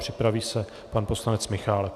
Připraví se pan poslanec Michálek.